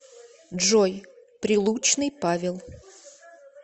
джой прилучный павел